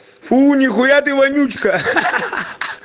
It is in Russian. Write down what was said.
фу ни хуя ты вонючка ха ха ха